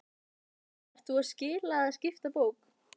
Breki: Ert þú að skila eða skipta bók?